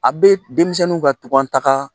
A bɛ denmisɛniw ka tunka taga